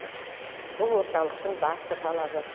бұл орталықтың басты талабы